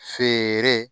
Feere